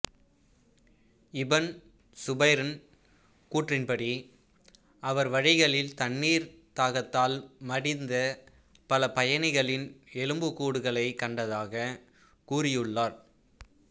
இபன் சுபைர்இன் கூற்றின்படி அவர் வழிகளில் தண்ணீர் தாகத்தால் மடிந்த பல பயணிகளின் எலும்புக் கூடுகளைக் கண்டதாக கூறியுள்ளார்